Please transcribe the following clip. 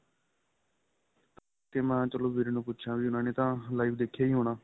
ਤੇ ਮੈਂ ਚਲੋ ਵੀਰੇ ਨੂੰ ਪੁੱਛਾ ਵੀ ਉਹਨਾ ਨੇ ਤਾਂ live ਦੇਖਿਆ ਹੀ ਹੋਣਾ